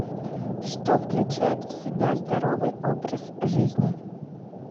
что включает в себя здоровый образ жизни